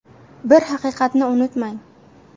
Bir haqiqatni unutmang!